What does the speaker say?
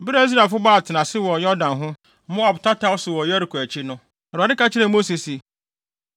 Bere a Israelfo bɔɔ atenase wɔ Yordan ho, Moab tataw so wɔ Yeriko akyi no, Awurade ka kyerɛɛ Mose se,